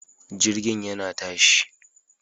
Jirgin yana tashi